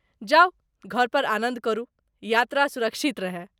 जाउ घर पर आनंद करू, यात्रा सुरक्षित रहय ।